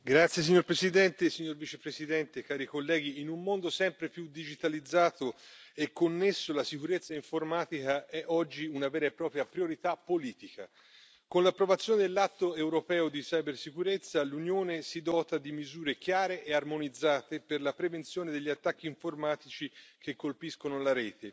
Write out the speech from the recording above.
Signora Presidente, signor Vicepresidente, onorevoli colleghi, in un mondo sempre più digitalizzato e connesso la sicurezza informatica è oggi una vera e propria priorità politica. Con l'approvazione dell'atto europeo sulla cibersicurezza, l'Unione si dota di misure chiare e armonizzate per la prevenzione degli attacchi informatici che colpiscono la rete.